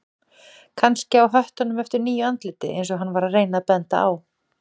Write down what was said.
Kannski á höttunum eftir nýju andliti eins og hann var að reyna að benda á.